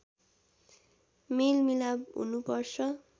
मेलमिलाप हुनुपर्छ